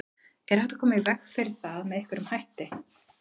Er hægt að koma í veg fyrir það með einhverjum hætti?